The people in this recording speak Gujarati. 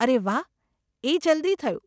અરે વાહ, એ જલ્દી થયું.